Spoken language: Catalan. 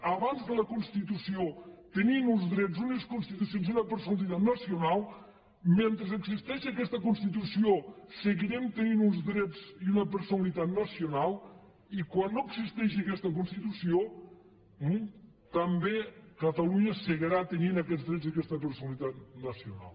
abans de la constitució tenia uns drets unes constitucions i una personalitat nacional mentre existeixi aquesta constitució seguirem tenint uns drets i una personalitat nacional i quan no existeix aquesta constitució també catalunya seguirà tenint aquests drets i aquesta personalitat nacional